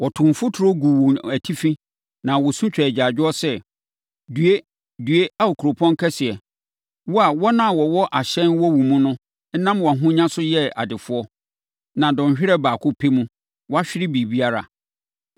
Wɔtoo mfuturo guu wɔn atifi na wɔsu twaa agyaadwoɔ sɛ, “ ‘Due! Due Ao kuropɔn kɛseɛ, wo a wɔn a wɔwɔ ahyɛn wɔ wo mu no nam wʼahonya so yɛɛ adefoɔ. Na dɔnhwereɛ baako pɛ mu, wɔahwere biribiara!’